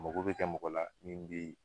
Mago bɛ kɛ mɔgɔ la min bɛ